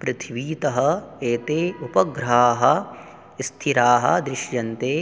पृथ्वीतः एते उपग्रहाः स्थिराः दृश्यन्ते